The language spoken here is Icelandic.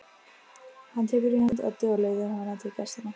Hann tekur í hönd Eddu og leiðir hana til gestanna.